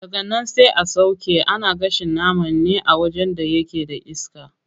Daganan sai a sauƙe, ana gashin nama ne a wajen da yake da iska.